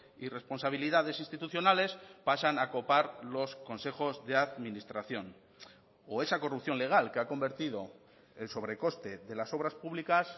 y responsabilidades institucionales pasan a copar los consejos de administración o esa corrupción legal que ha convertido el sobrecoste de las obras públicas